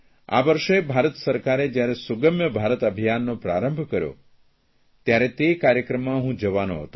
આ વર્ષે ભારત સરકારે જયારે સુગમ્ય ભારત અભિયાનનો પ્રારંભ કર્યો ત્યારે તે કાર્યક્રમમાં હું જવાનો હતો